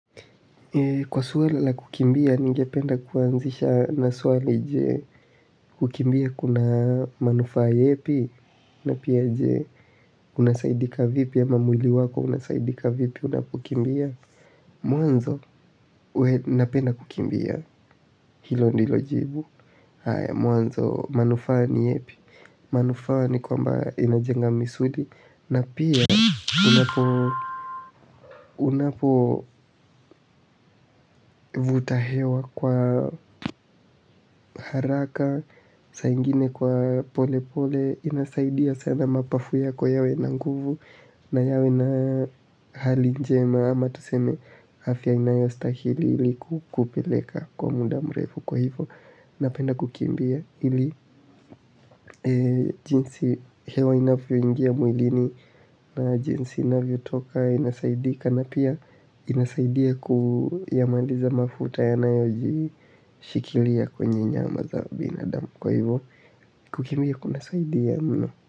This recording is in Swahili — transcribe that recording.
Kwa swala la kukimbia, ningependa kuanzisha na swali je kukimbia kuna manufaa yepi, na pia je unasaidika vipi ama mwili wako unasaidika vipi unapokimbia. Mwanzo, we napenda kukimbia hilo ndilo jibu. Mwanzo manufaa ni yepi manufaa ni kwamba inajenga misuli na pia unapo vuta hewa kwa haraka saa ingine kwa pole pole inasaidia sana mapafu yako yawe na nguvu na yawe na hali njema ama tuseme afya inayostahili iliku kupeleka kwa muda mrefu kwa hivo napenda kukimbia ili jinsi hewa inavyoingia mwilini na jinsi inavyotoka inasaidika na pia inasaidia kuyamaliza mafuta yanayojishikilia kwenye nyama za binadamu kwa hivo kukimbia kunasaidia mno.